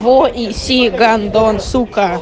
эссе гордон